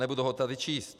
Nebudu ho tady číst.